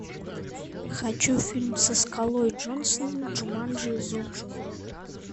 хочу фильм со скалой джонсоном джуманджи зов джунглей